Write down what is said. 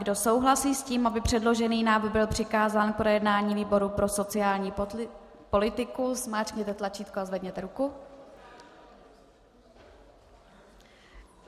Kdo souhlasí s tím, aby předložený návrh byl přikázán k projednání výboru pro sociální politiku, zmáčkněte tlačítko a zvedněte ruku.